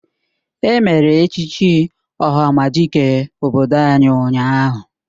Emere echichi ohamadike obodo anyị ụnyahụ